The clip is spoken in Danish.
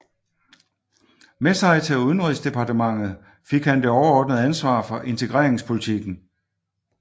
Med sig til udenrigsdepartementet fik han det overordnede ansvar for integreringspolitikken